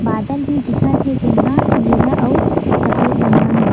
बादल भी दिखत हे जेन ह नीला अउ सफेद रंग म हे।